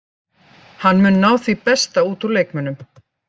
Hann mun ná því besta út úr leikmönnunum.